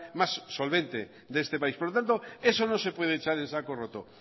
más solvente de este país por lo tanto eso no se puede echar en saco roto